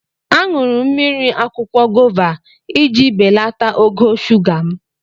Aṅụrụ mmiri akwụkwọ gova iji belata ogo shuga m.